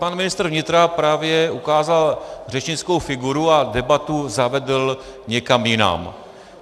Pan ministr vnitra právě ukázal řečnickou figuru a debatu zavedl někam jinak.